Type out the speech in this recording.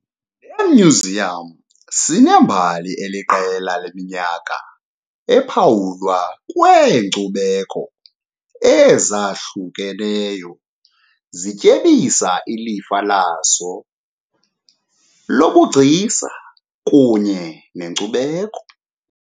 Le myuziyam sinembali eliqela leminyaka ephawulwa kweenkcubeko ezahlukeneyo zityebisa ilifa laso lobugcisa kunye nenkcubeko.